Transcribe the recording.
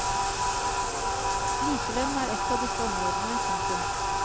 Likelønn er ett av disse områdene. punktum